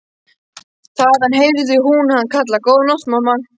Þaðan heyrði hún hann kalla:- Góða nótt mamma.